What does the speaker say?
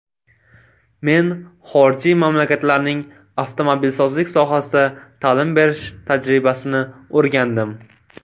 Men xorijiy mamlakatlarning avtomobilsozlik sohasida ta’lim berish tajribasini o‘rgandim.